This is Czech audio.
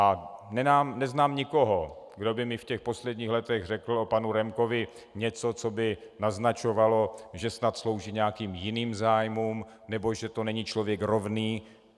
A neznám nikoho, kdo by mi v těch posledních letech řekl o panu Remkovi něco, co by naznačovalo, že snad slouží nějakým jiným zájmům nebo že to není člověk rovný.